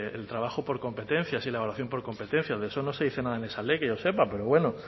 el trabajo por competencias y la evaluación por competencias de eso no se dice nada en esa ley que yo sepa pero bueno